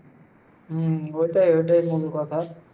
হম ওইটাই, ওইটাই মূল কথা।